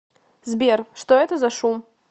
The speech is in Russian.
сбер что это за шум